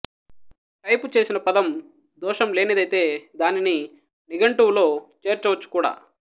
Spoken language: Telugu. టైపు చేసిన పదం దోషం లేనిదైతే దానిని నిఘంటువులో చేర్చవచ్చుకూడా